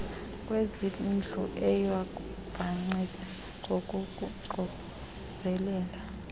kwezezindlu oyakubancedisa ngokuququzelela